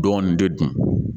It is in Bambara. Dɔɔnin de dun